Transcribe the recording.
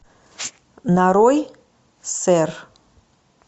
нарой сэр